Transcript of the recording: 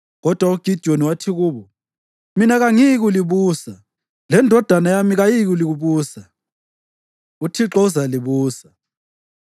Kodwa uGidiyoni wathi kubo, “Mina kangiyikulibusa, lendodana yami kayiyikulibusa. UThixo uzalibusa.”